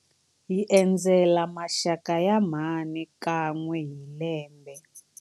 Hi endzela maxaka ya mhani kan'we hi lembe.